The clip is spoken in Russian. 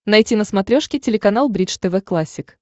найти на смотрешке телеканал бридж тв классик